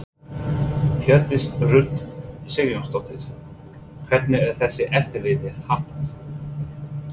Hjördís Rut Sigurjónsdóttir: Hvernig er þessu eftirliti háttað?